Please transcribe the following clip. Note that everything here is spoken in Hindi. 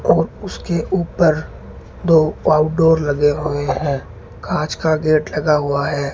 और उसके ऊपर दो आउटडोर लगे हुए हैं कांच का गेट लगा हुआ है।